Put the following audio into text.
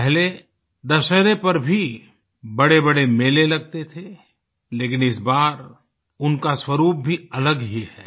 पहले दशहरे पर भी बड़ेबड़े मेले लगते थे लेकिन इस बार उनका स्वरुप भी अलग ही है